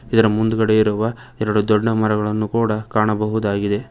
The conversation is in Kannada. ಇದರ ಮುಂದುಗಡೆ ಇರುವ ಎರಡು ದೊಡ್ಡ ಮರಗಳನ್ನು ಕೂಡ ಕಾಣಬಹುದಾಗಿದೆ.